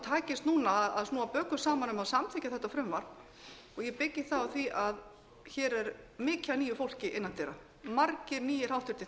takist núna að snúa bökum saman um að samþykkja þetta frumvarp og ég byggi það á því að hér er mikið af nýju fólki innan dyra margir nýir háttvirtir þingmenn